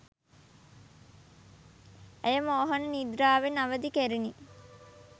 ඇය මෝහන නිද්‍රාවෙන් අවදි කෙරිණි.